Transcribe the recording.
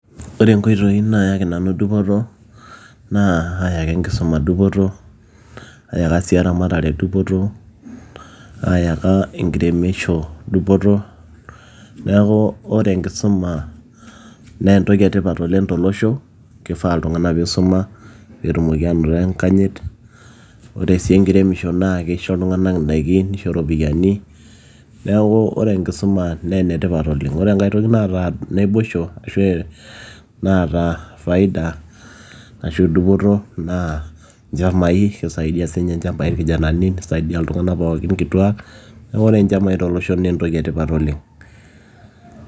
Ore inkoitoi naayaki nanu dupoto naa aayaka enkisuma dupoto aayaka sii eramatare dupoto, naayaka enkiremisho dupoto neeku ore enkisuma naa entoki etipat tolosho kefaa iltung'anak peisuma peetumoki aanoto enkanyit ore sii enkiremisho naa naa keisho iltung'anak indaiki neisho iropiyiani neeku ore enkisuma naa enetipat oleng ore enkae toki naata naboisho ashuu naata faida ashuu dupoto anaa inchamai keisaidia siininye inchamai irkijanani neisaidia inkituak neisaidia iltung'anak pookin kituak neeku ore inchamai naa tolosho naa entoki etipat oleng.